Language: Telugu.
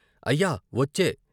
అయ్య ! వచ్చె "